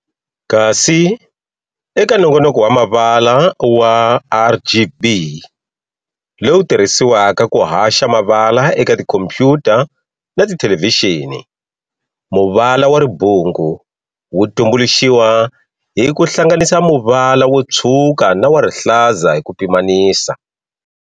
Kasi, eka nongonoko wa mavala wa RGB lowu tirhisiwaka ku haxa mavala eka tikhompuyuta na tithelevixini, muvala wa ribungu wu tumbuluxiwa hi ku hlannganisa muvala wo tshwuka na wa rihlaza hi ku pimanisa.